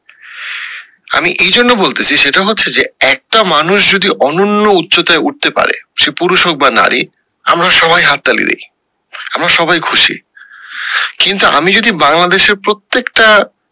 আমি এই জন্য বলতেসি সেটা হচ্ছে যে একটা মানুষ যদি অনন্য উচ্চতায় উঠতে পারে সে পুরুষ হোক বা নারী আমরা সবাই হাত তালি দি আমরা সবাই খুশি, কিন্তু আমি যদি বংলাদেশের প্রত্যেকটা